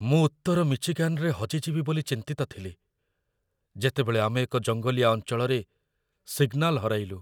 ମୁଁ ଉତ୍ତର ମିଚିଗାନରେ ହଜିଯିବି ବୋଲି ଚିନ୍ତିତ ଥିଲି, ଯେତେବେଳେ ଆମେ ଏକ ଜଙ୍ଗଲିଆ ଅଞ୍ଚଳରେ ସିଗ୍ନାଲ୍ ହରାଇଲୁ।